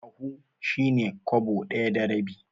Ahu shi ne Kwabo ɗaya da rabi.